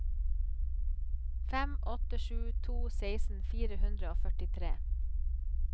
fem åtte sju to seksten fire hundre og førtitre